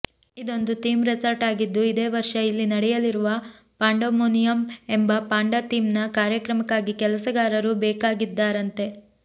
ಇದೊಂದು theme resort ಆಗಿದ್ದು ಇದೇ ವರ್ಷ ಇಲ್ಲಿ ನಡೆಯಲಿರುವ ಪಾಂಡಾಮೋನಿಯಮ್ ಎಂಬ ಪಾಂಡಾ ಥೀಮ್ನ ಕಾರ್ಯಕ್ರಮಕ್ಕಾಗಿ ಕೆಲಸಗಾರರು ಬೇಕಾಗಿದ್ದಾರಂತೆ